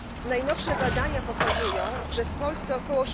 Najnowsze badania pokazują, że w Polsce ok.